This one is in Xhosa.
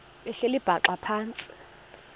behleli bhaxa phantsi